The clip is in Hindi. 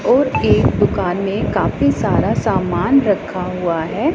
और एक दुकान में काफी सारा सामान रखा हुआ है।